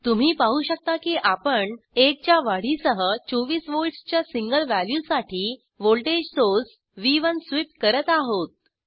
तुम्ही पाहु शकता कि आपण 1 च्या वाढ सह 24 वोल्ट्सच्या सिंगल वॅल्यूसाठी व्हॉल्टेज सोर्स व्ह1 स्वीप करत आहोत